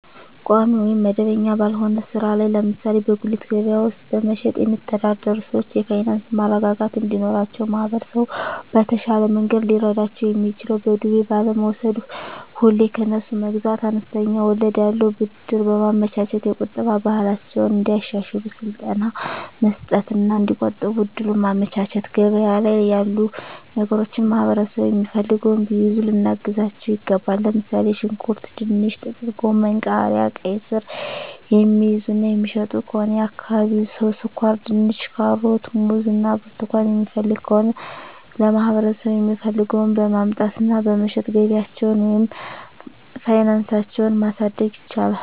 ቋሚ ወይም መደበኛ ባልሆነ ሥራ ላይ (ለምሳሌ በጉሊት ገበያ ውስጥ በመሸጥ)የሚተዳደሩ ሰዎች የፋይናንስ መረጋጋት እንዲኖራቸው ማህበረሰቡ በተሻለ መንገድ ሊረዳቸው የሚችለው በዱቤ ባለመውስድ፤ ሁሌ ከነሱ መግዛት፤ አነስተኛ ወለድ ያለው ብድር በማመቻቸት፤ የቁጠባ ባህላቸውን እንዲያሻሽሉ ስልጠና መስጠት እና እዲቆጥቡ እድሉን ማመቻቸት፤ ገበያ ላይ ያሉ ነገሮችን ማህበረሠቡ የሚፈልገውን ቢይዙ ልናግዛቸው ይገባል። ለምሣሌ፦ ሽንኩርት፤ ድንች፤ ጥቅልጎመን፤ ቃሪያ፤ ቃይስር፤ የሚይዙ እና የሚሸጡ ከሆነ የአካባቢው ሠው ስኳርድንች፤ ካሮት፤ ሙዝ እና ብርቱካን የሚፈልግ ከሆነ ለማህበረሰቡ የሚፈልገውን በማምጣት እና በመሸጥ ገቢያቸውን ወይም ፋናሳቸው ማሣደግ ይችላሉ።